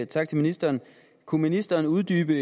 tak til ministeren kunne ministeren uddybe